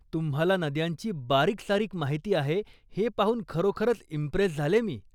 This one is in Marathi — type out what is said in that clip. तुम्हाला नद्यांची बारीकसारीक माहिती आहे हे पाहून खरोखरच इम्प्रेस झाले मी.